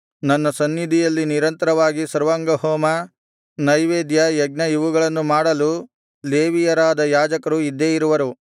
ನನ್ನ ಸನ್ನಿಧಿಯಲ್ಲಿ ನಿರಂತರವಾಗಿ ಸರ್ವಾಂಗಹೋಮ ನೈವೇದ್ಯ ಯಜ್ಞ ಇವುಗಳನ್ನು ಮಾಡಲು ಲೇವಿಯರಾದ ಯಾಜಕರು ಇದ್ದೇ ಇರುವರು